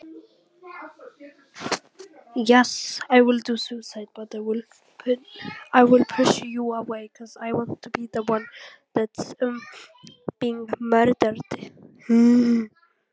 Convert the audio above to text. Heiðrós, viltu hoppa með mér?